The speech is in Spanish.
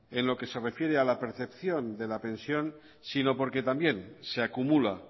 en lo que se refiere a la percepción de la pensión sino porque también se acumula